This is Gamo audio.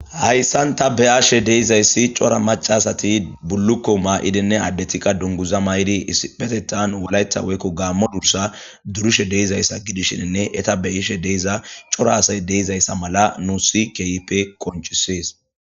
hayssan ta beaashe deizayssi cora macasati bullukko maa7idinne addetikka dunguza ma7idi isipetetan walaytha weykko gaammo dursa durushe deizayssa gidishinne eta beyishe deiza cora asay deizayssa mala nu sikeyipe konchisees